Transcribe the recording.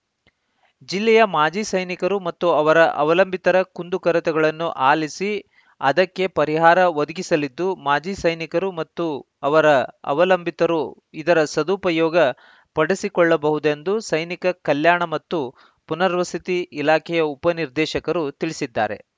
ಜಿಲ್ಲೆಯ ಮಾಜಿ ಸೈನಿಕರು ಮತ್ತು ಅವರ ಅವಲಂಬಿತರ ಕುಂದು ಕೊರತೆಗಳನ್ನು ಅಲಿಸಿ ಅದಕ್ಕೆ ಪರಿಹಾರ ಒದಗಿಸಲಿದ್ದು ಮಾಜಿ ಸೈನಿಕರು ಮತ್ತು ಅವರ ಅವಲಂಬಿತರು ಇದರ ಸದುಪಯೋಗ ಪಡಿಸಿಕೊಳ್ಳಬಹುದೆಂದು ಸೈನಿಕ ಕಲ್ಯಾಣ ಮತ್ತು ಪುನರ್ವಸತಿ ಇಲಾಖೆಯ ಉಪ ನಿರ್ದೇಶಕರು ತಿಳಿಸಿದ್ದಾರೆ